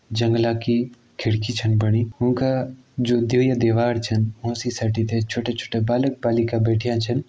जंगला की खिड़की छन बणी ऊं का जु द्वी दीवार छन ऊं सी सटीते छोटा- छोटा बालक बालिका बैठ्यां छन।